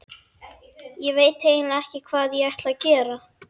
Ég veit eiginlega ekki hvað ég ætlaði að gera.